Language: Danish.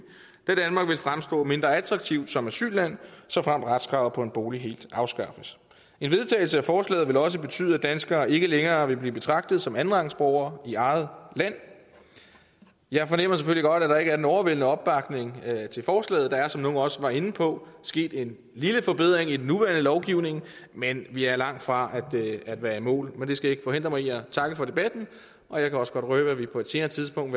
da danmark vil fremstå mindre attraktivt som asylland såfremt retskravet på en bolig helt afskaffes en vedtagelse af forslaget vil også betyde at danskerne ikke længere vil blive betragtet som andenrangsborgere i eget land jeg fornemmer selvfølgelig godt at der ikke er en overvældende opbakning til forslaget der er som nogle også var inde på sket en lille forbedring i den nuværende lovgivning men vi er langtfra at være i mål men det skal ikke forhindre mig i at takke for debatten og jeg kan også godt røbe at vi på et senere tidspunkt